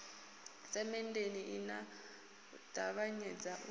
semenndeni i a ṱavhanyedza u